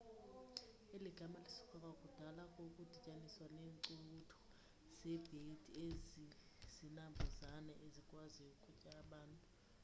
eli gama lisuka kwakudala kukudityaniswa neencukuthu zebhedi ezizinambuzane ezikwaziyo ukutya abantu